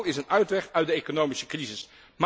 Handel is een uitweg uit de economische crisis.